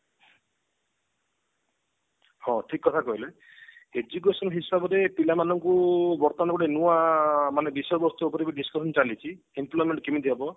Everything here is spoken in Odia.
ହଁ ଠିକ କଥା କହିଲେ education ହିସାବରେ ପିଲା ମାନଙ୍କୁ ବର୍ତମାନ ଗୋଟେ ନୂଆ ବିଷୟବସ୍ତୁ ଉପରକୁ discussion ଚାଲିଛି employment କେମତି ହେବ